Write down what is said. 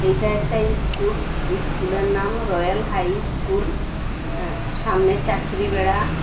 এটা একটা ইস্কুল ইস্কুলের নাম রয়াল হাই স্কুল হ্যাঁ সামনে চাঁচড়ি বেড়া।